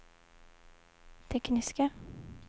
tekniska